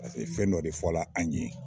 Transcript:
fɛn dɔ de fɔla an ɲe.